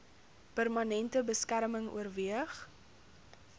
permanente beskerming oorweeg